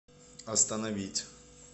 остановить